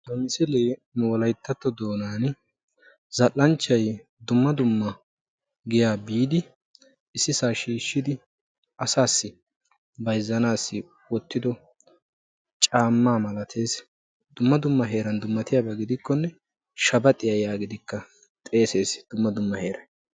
ha misilee nu wolayttatto doonan zal''anchchay dumma dumma giya biidi ississa shiishshidi asassi bayzzanassi wottido caamma malatees, dumma dumma heeran dummatiyaaba gidikkonne shabaxxiya yaagidikka xeesses dumma dumma heeray.